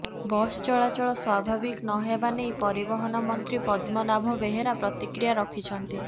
bus ଚଳାଚଳ ସ୍ୱାଭାବିକ ନ ହେବା ନେଇ ପରିବହନ ମନ୍ତ୍ରୀ ପଦ୍ମନାଭ ବେହେରା ପ୍ରତିକ୍ରିୟା ରଖିଛନ୍ତି